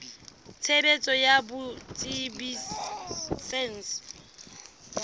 tshebetso ya botsebi ba saense